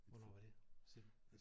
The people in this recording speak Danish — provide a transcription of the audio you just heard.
Hvornår var det siger du?